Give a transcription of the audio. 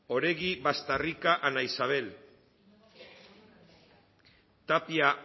oregi bastarrika ana isabel tapia